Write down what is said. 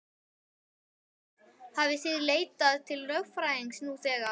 Hrund: Hafið þið leitað til lögfræðings nú þegar?